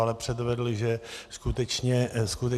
Ale předvedl, že skutečně může.